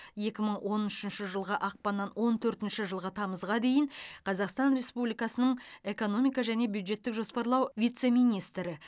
екі мың он үшінші жылғы ақпаннан он төртінші жылғы тамызға дейін қазақстан республикасының экономика және бюджеттік жоспарлау вице министрі